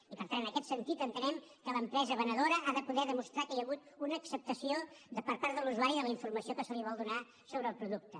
i per tant en aquest sentit entenem que l’empresa venedora ha de poder demostrar que hi ha hagut una acceptació per part de l’usuari de la informació que se li vol donar sobre el producte